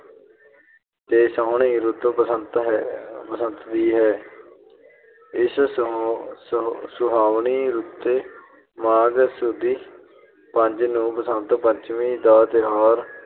ਤੇ ਸੋਹਣੀ ਰੁੱਤ ਬਸੰਤ ਦੀ ਹੈ। ਇਸ ਸੁ ਅਹ ਸੁਹਾਵਣੀ ਰੁੱਤੇ ਮਾਘ ਸੁਦੀ ਪੰਜ ਨੂੰ ਬਸੰਤ ਪੰਚਮੀ ਦਾ ਤਿਉਹਾਰ